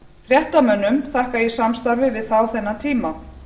fréttamönnum þakka ég samstarfið við þá þennan tíma